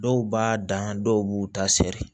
Dɔw b'a dan dɔw b'u ta sɛri